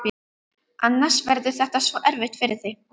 Annars verður þetta svo erfitt fyrir þig.